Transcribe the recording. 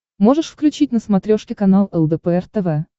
можешь включить на смотрешке канал лдпр тв